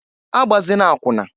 Agbazina akwụna!